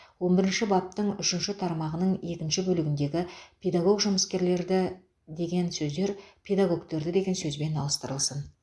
он бірінші баптың үшінші тармағының екінші бөлігіндегі педагог жұмыскерлерді деген сөздер педагогтерді деген сөзбен ауыстырылсын